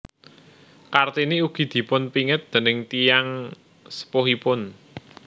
Kartini ugi dipunpingit déning tiyang sepuhipun